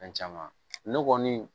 Fɛn caman ne kɔni